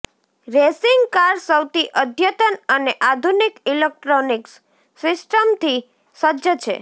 racing car સૌથી અદ્યતન અને આધુનિક ઇલેક્ટ્રોનિક્સ સિસ્ટમથી સજ્જ છે